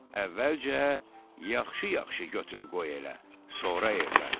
Əvvəlcə yaxşı-yaxşı götür-qoy elə, sonra evlən.